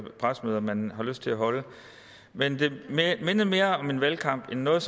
pressemøder man har lyst til at holde men det mindede mere om en valgkamp end noget